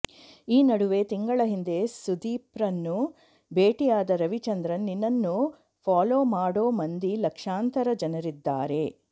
ಈ ನಡುವೆ ತಿಂಗಳ ಹಿಂದೆ ಸುದೀಪ್ರನ್ನು ಭೇಟಿಯಾದ ರವಿಚಂದ್ರನ್ ನಿನ್ನನ್ನು ಫಾಲೋ ಮಾಡೋ ಮಂದಿ ಲಕ್ಷಾಂತರ ಜನರಿದ್ದಾರೆ